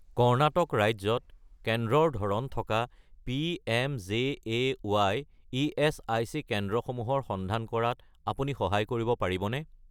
কৰ্ণাটক ৰাজ্যত কেন্দ্ৰৰ ধৰণ থকা পি.এম.জে.এ.ৱাই. ইএচআইচি কেন্দ্ৰসমূহৰ সন্ধান কৰাত আপুনি সহায় কৰিব পাৰিবনে?